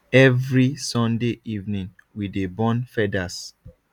every sunday evening we dey burn feathers